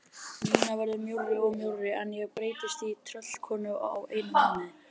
Nína verður mjórri og mjórri en ég breytist í tröllkonu á einum mánuði.